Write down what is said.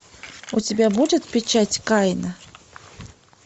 у тебя будет печать каина